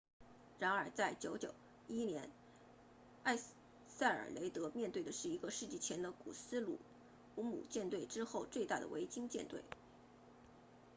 然而在991年埃塞尔雷德面对的是一个世纪前的古斯鲁姆舰队之后最大的维京舰队